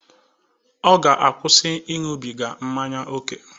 Ọ ga-akwụsị ịṅụbiga mmanya ókè.